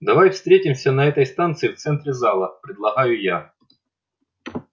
давай встретимся на этой станции в центре зала предлагаю я